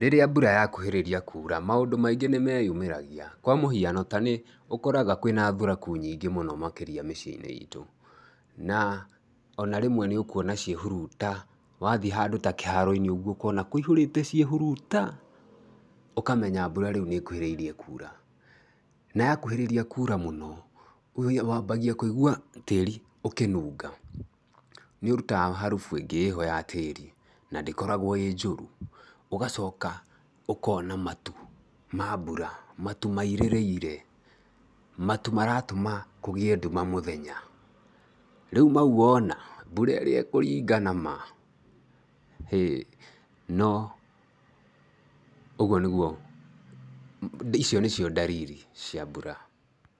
Rĩrĩa mbura yakuhĩrĩria kuura, maũndũ maingĩ nĩ meyumagĩria, kwa mũhiano, ta nĩ ũkoraga kwĩna thuraku nyingĩ mũno makĩria mĩciĩ-inĩ itũ na ona rĩmwe nĩ ũkuona ciĩhuruta, wathiĩ handũ ta kĩharo-inĩ ũkona kũihũrĩte ciĩhuruta, ũkamenya mbura rĩu nĩ ĩkuhĩrĩirie kuura. Na yakuhĩrĩria kuura mũno, wambagia kũigua tĩri ũkĩnunga, nĩ ũrutaga harubu ĩngĩ ya tĩrĩ na ndĩkoragwo ĩ njũru, ũgacoka ũkona matu ma mbura, matu mairĩrĩire, matu maratũma kũgĩe nduma mũthenya. Rĩu mau wona, mbura ĩrĩa ĩkũringana ma, hĩĩ, no ũgũo nĩ gũo, icio nĩ cio ndariri cia mbura.